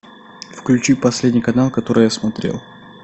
включи последний канал который я смотрел